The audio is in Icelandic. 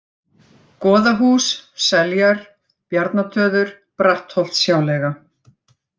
Goðahús, Seljar, Bjarnatöður, Brattholtshjáleiga